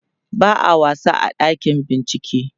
ba'a wasa a ɗakin bincike